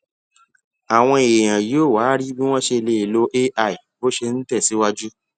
àwọn èèyàn yóò wá rí bí wón ṣe lè lo ai bó ṣe ń tè síwájú